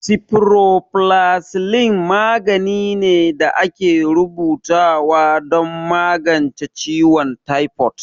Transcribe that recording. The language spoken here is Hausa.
Sifuroflazicin magani ne da ake rubuta wa don magance ciwon taifod